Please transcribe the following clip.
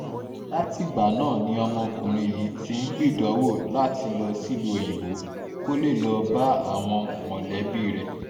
látìgbà náà ni ọmọkùnrin yìí ti ń gbìdánwò láti lọ sílùú òyìnbó kó lè lọ́ọ́ bá àwọn mọ̀lẹ́bí rẹ̀